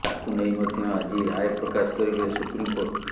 ତାକୁ ନେଇ ମଧ୍ୟ ଆଜି ରାୟ ପ୍ରକାଶ କରିବେ ସୁପ୍ରିମକୋର୍ଟ